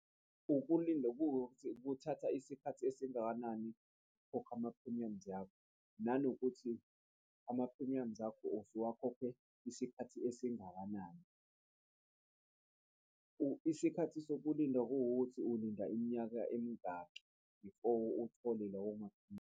Ukulinda ukuthi kuthatha isikhathi esingakanani ukukhokha ama-premiums akho, nanokuthi ama-premiums akho usuwakhokhe isikhathi esingakanani. Isikhathi sokulinda kuwukuthi ulinda iminyaka emingaki before uthole lawo .